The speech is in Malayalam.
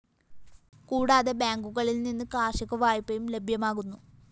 കൂടാതെ ബാങ്കുകളില്‍ നിന്ന് കാര്‍ഷിക വായ്പയും ലഭ്യമാകുന്നു